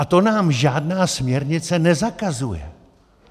A to nám žádná směrnice nezakazuje.